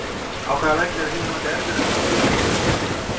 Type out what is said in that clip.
Á hvaða velli er að þínu mati erfiðast að leika fyrir utan þinn heimavöll?